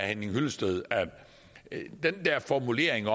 henning hyllested at den der formulering